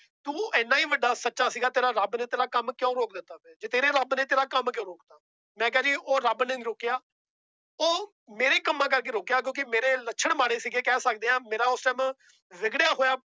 ਤੂੰ ਇੰਨਾ ਹੀ ਵੱਡਾ ਸੱਚਾ ਸੀਗਾ ਤੇਰਾ ਰੱਬ ਨੇ ਤੇਰਾ ਕੰਮ ਕਿਉਂ ਰੋਕ ਦਿੱਤਾ ਫਿਰ ਜੇ ਤੇਰੇ ਰੱਬ ਨੇ ਤੇਰਾ ਕੰਮ ਕਿਉਂ ਰੋਕ ਦਿੱਤਾ, ਮੈਂ ਕਿਹਾ ਵੀ ਉਹ ਰੱਬ ਨੇ ਨੀ ਰੋਕਿਆ ਉਹ ਮੇਰੇ ਕੰਮਾਂ ਕਰਕੇ ਰੁੱਕਿਆ ਕਿਉਂਕਿ ਮੇਰੇ ਲੱਛਣ ਮਾੜੇ ਸੀਗੇ ਕਹਿ ਸਕਦੇ ਹਾਂ ਮੇਰਾ ਉਸ time ਵਿਗੜਿਆ ਹੋਇਆ